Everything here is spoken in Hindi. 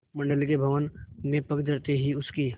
मंडल के भवन में पग धरते ही उसकी